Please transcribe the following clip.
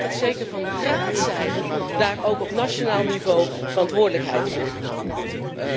Het wordt tijd dat zeker van Raadszijde daar ook op nationaal niveau verantwoordelijkheid voor genomen wordt.